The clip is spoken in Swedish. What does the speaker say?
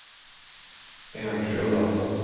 enskilda